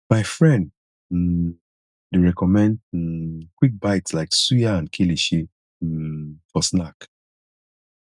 my friend um dey recommend um quick bites like suya and kilishi um for snack